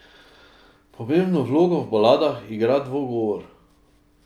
Pomembno vlogo v baladah igra dvogovor.